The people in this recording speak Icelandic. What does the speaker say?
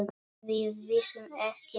Við vissum ekki neitt.